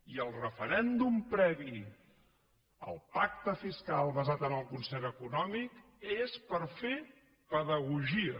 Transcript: i el referèndum previ al pacte fiscal basat en el concert econòmic és per fer pedagogia